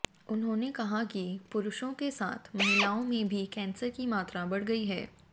उन्होंने कहा कि पुरुषों के साथ महिलाओं में भी कैंसर की मात्रा बढ़ गई है